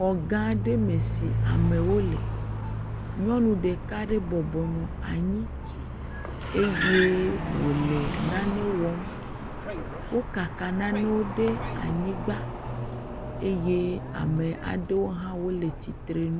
Xɔ gã aɖe me si amewo le, nyɔnu ɖeka aɖe bɔbɔnɔ anyi eye wòle nane wɔm, wo kaka nanewo ɖe anyigba eye ame aɖewo hã wole tsitre nu.